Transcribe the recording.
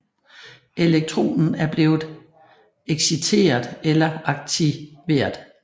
Elektronen er blevet exciteret eller aktivereret